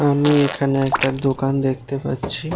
আমি এখানে একটা দোকান দেখতেন পাচ্ছি।